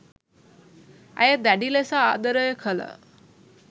ඇය දැඩි ලෙස ආදරය කළ